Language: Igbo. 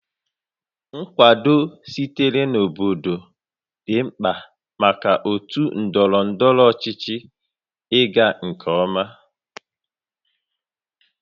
Nkwado sitere na obodo dị mkpa maka otu ndọrọ ndọrọ ọchịchị ịga nke ọma